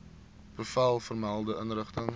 bevel vermelde inrigting